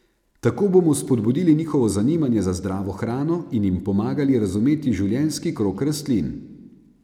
Tako bomo spodbudili njihovo zanimanje za zdravo hrano in jim pomagali razumeti življenjski krog rastlin.